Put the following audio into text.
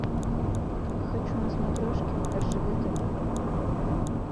хочу на смотрешке ржд тв